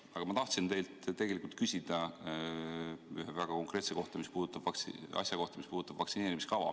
Aga ma tahan teilt küsida ühe väga konkreetse asja kohta, mis puudutab vaktsineerimiskava.